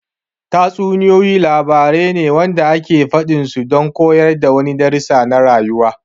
Tatsuniyoyi labarai wanda ake faɗin su don koyar da wani darasi na rayuwa